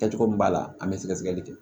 Kɛcogo min b'a la an bɛ sɛgɛsɛgɛli kɛ